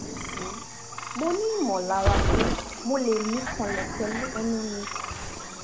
nisin mo ni molara pe mo le mi kanlepelu enu mi